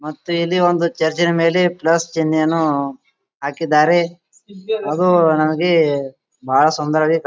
ಮತ್ತೆ ಇಲ್ಲಿ ಚರ್ಚಿನ ಮೇಲೆ ಪ್ಲಸ್ ಚಿಹ್ನೆಯನ್ನು ಹಾಕಿದ್ದಾರೆ ಅದು ನನಗೆ ಬಹಳ ಸುಂದರವಾಗಿ ಕಾಣುತ್ತಿ --